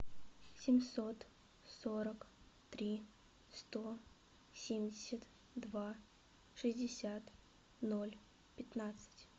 семьсот сорок три сто семьдесят два шестьдесят ноль пятнадцать